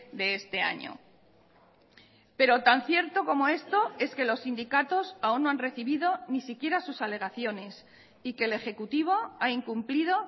de este año pero tan cierto como esto es que los sindicatos aún no han recibido ni siquiera sus alegaciones y que el ejecutivo ha incumplido